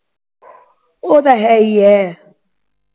ਉਹ ਤਾਂ ਹੈ ਈ ਐ